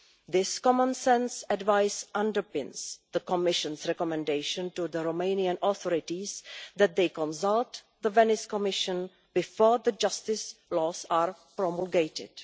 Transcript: This common sense advice underpins the Commission's recommendation to the Romanian authorities that they consult the Venice Commission before the justice laws are promulgated.